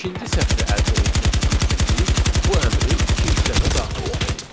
İkinci sətri əldə etmək üçün biz bu əmri ikinci dəfə daxil etməliyik.